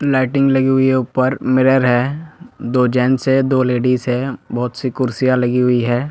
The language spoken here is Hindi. लाइटिंग लगी हुई है ऊपर मिरर है दो जैनस है दो लेडिस है बहुत सी कुर्सियां लगी हुई है।